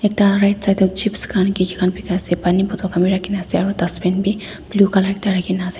ekta right side chips khan bikaase Pani bottle khan bi rakhina ase aro dustbin bi blue colour ekta rakhinase.